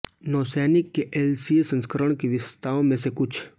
नौसैनिक के एलसीए संस्करण की विशेषताओं में से कुछ